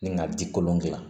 Ni ka ji kolon gilan